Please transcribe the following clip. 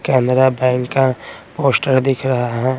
Canara bank का poster दिख रहा है।